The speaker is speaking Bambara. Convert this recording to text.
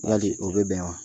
Badi, o bɛ bɛn wa?